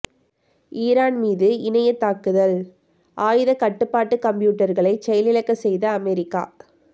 Iran மீது இணைய தாக்குதல் ஆயுத கட்டுப்பாட்டு கம்ப்யூட்டர்களை செயலிழக்க செய்த அமெரிக்கா